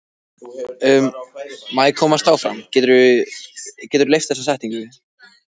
Hann var með bauga og rauðeygður af svefnleysi.